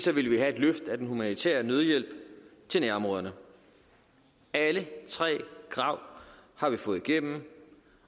ville vi have et løft af den humanitære nødhjælp til nærområderne alle tre krav har vi fået igennem